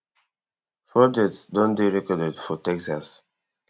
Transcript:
four deaths don dey recorded for texas